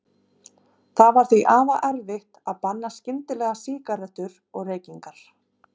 Það var því afar erfitt að banna skyndilega sígarettur og reykingar.